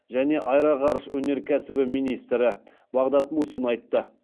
және аэроғарыш өнеркәсібі министрі бағдат мусин айтты